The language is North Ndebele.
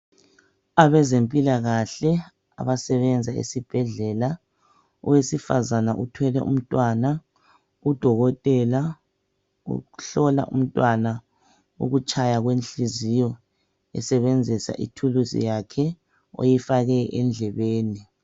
Abezempilakahle abasebenza esibhedlela owesifazana uthwele umntwana udokotela uhlola umntwana ukutshaya kwenhliziyo esebenzisa ithuluzi yakhe oyifake endlebeni.